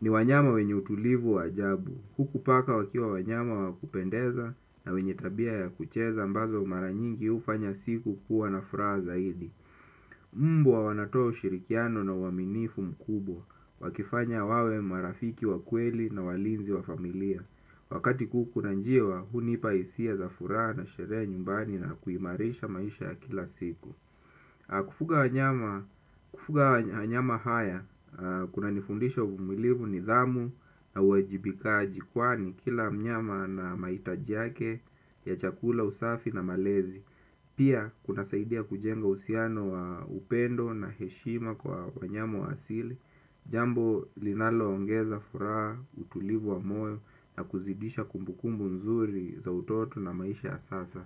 ni wanyama wenye utulivu wa ajabu. Huku paka wakiwa wanyama wakupendeza na wenye tabia ya kucheza ambazo mara nyingi ufanya siku kuwa na furaha zaidi mbwa wanatoa ushirikiano na uwaminifu mkubwa. Wakifanya wawe marafiki wa kweli na walinzi wa familia. Wakati kuku na njiwa, hunipa hisia za furaha na sherehe ya nyumbani na kuimarisha maisha ya kila siku. Kufuga wanyama haya kuna nifundisha uvumilivu nidhamu na uwajibikaji kwani kila mnyama ana maitaji yake ya chakula usafi na malezi. Pia kunasaidia kujenga usiano wa upendo na heshima kwa wanyama wa asili. Jambo linalo ongeza furaha utulivu wa moyo na kuzidisha kumbukumbu nzuri za utoto na maisha ya sasa.